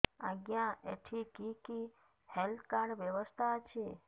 ଆଜ୍ଞା ଏଠି କି କି ହେଲ୍ଥ କାର୍ଡ ବ୍ୟବସ୍ଥା ଅଛି